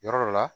Yɔrɔ dɔ la